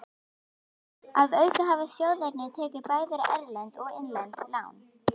Að auki hafa sjóðirnir tekið bæði erlend og innlend lán.